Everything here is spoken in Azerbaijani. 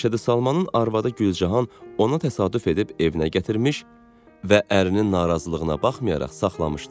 Məşədi Salmanın arvadı Gülcahan ona təsadüf edib evinə gətirmiş və ərinin narazılığına baxmayaraq saxlamışdı.